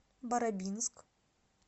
барабинск